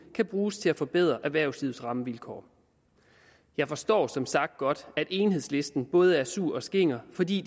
kan bruges til at forbedre erhvervslivets rammevilkår jeg forstår som sagt godt at enhedslisten både lyder sur og skinger fordi